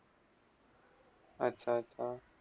अच्छा - अच्छा!